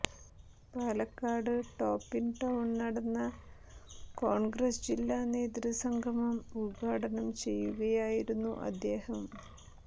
Palakkad top in ടൌണിൽ നടന്ന കോൺഗ്രസ് ജില്ലാ നേതൃസംഗമം ഉദ്ഘാടനം ചെയ്യുകയായിരുന്നു അദ്ദേഹം